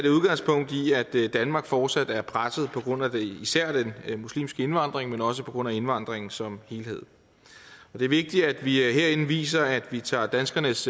danmark fortsat er presset på grund af især den muslimske indvandring men også på grund af indvandringen som helhed det er vigtigt at vi herinde viser at vi tager danskernes